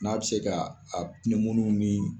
N'a bɛ se ka ni